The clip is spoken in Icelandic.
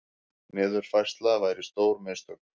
Niðurfærsla væri stór mistök